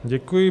Děkuji.